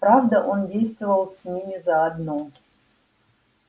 правда он действовал с ними заодно